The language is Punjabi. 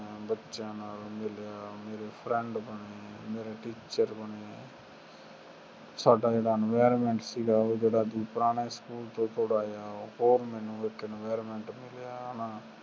ਬੱਚਿਆਂ ਨਾਲ ਮਿਲਿਆ ਮੇਰੇ friend ਬਣ ਗਏ ਮੇਰੇ teacher ਬਣੇ ਸਾਡਾ ਜੇੜਾ environment ਸੀਗਾ ਉਹ ਜੇੜਾ ਪੁਰਾਣੇ ਸਕੂਲ ਤੋਂ ਥੋੜਾ ਜੇਹਾ ਹੋਰ ਮੈਨੂੰ ਥੋੜਾ ਜੇਹਾ environment ਮਿਲਿਆ